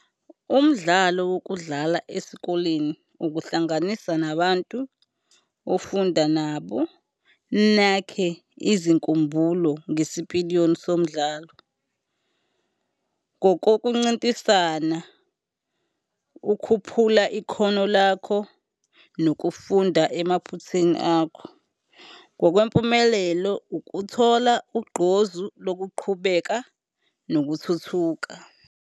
Umdlalo wokudlala esikoleni ukuhlanganisa nabantu ofunda nabo, nakhe izinkumbulo ngesipiliyoni somdlalo. Kokokuncintisana, ukhuphula ikhono lakho, nokufunda emaphuthini akho. Ngokwempumelelo, ukuthola ugqozu lokuqhubeka nokuthuthuka.